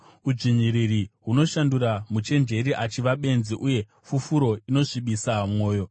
Udzvinyiriri hunoshandura muchenjeri achiva benzi, uye fufuro inosvibisa mwoyo.